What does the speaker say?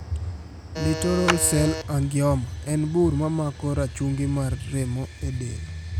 Littoral cell angioma en bur mamako rachungi mar remo e del.